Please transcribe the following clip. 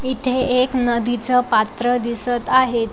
इथे एक नदीच पात्र दिसत आहे.